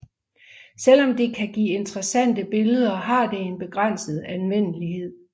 Selvom det kan give interessante billeder har det en begrænset anvendelighed